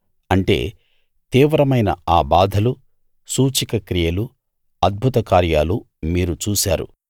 అంటే తీవ్రమైన ఆ బాధలూ సూచకక్రియలూ అద్భుత కార్యాలూ మీరు చూశారు